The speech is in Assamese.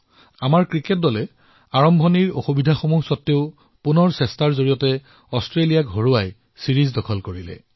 আমাৰ ক্ৰিকেট দলে আৰম্ভণিতে হোৱা সমস্যাৰ পিছত অতুলনীয় প্ৰদৰ্শনেৰে অষ্ট্ৰেলিয়াত ছিৰিজ জয় কৰিলে